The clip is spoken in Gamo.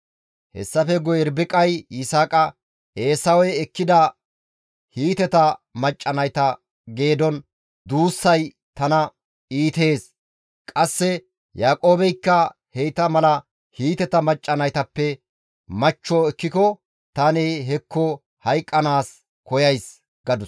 Hessafe guye Irbiqay Yisaaqa, «Eesawey ekkida Hiiteta macca nayta geedon duussay tana iitees; qasse Yaaqoobeykka heyta mala Hiiteta macca naytappe machcho ekkiko tani hekko hayqqanaas koyays» gadus.